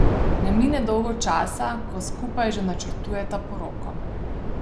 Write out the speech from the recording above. Ne mine dolgo časa, ko skupaj že načrtujeta poroko.